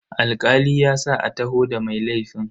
Alkali ya sa a taho da mai laifin.